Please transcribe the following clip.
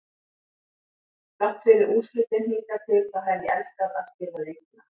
Þrátt fyrir úrslitin hingað til þá hef ég elskað að spila leikina.